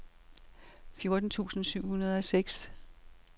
fjorten tusind syv hundrede og seks